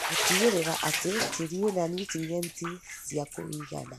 gũtigĩrĩra atĩ tĩri wĩna niutrienti cia kũigana,